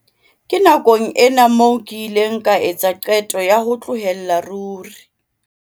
"Ke nakong ena moo ke ileng ka etsa qeto ya ho tlohella ruri."